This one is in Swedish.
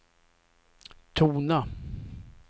tona